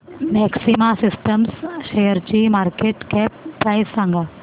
maxima systems शेअरची market cap price सांगा